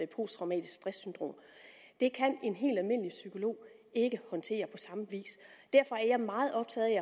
posttraumatiske stress syndrom det kan en helt almindelig psykolog ikke håndtere på samme vis derfor er jeg meget optaget